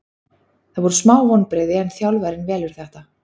Það voru smá vonbrigði en þjálfarinn velur þetta.